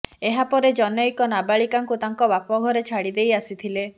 ଏହା ପରେ ଜନ୘କ ନାବାଳିକାଙ୍କୁ ତାଙ୍କ ବାପ ଘରେ ଛାଡ଼ି ଦେଇ ଆସିଥିଲେ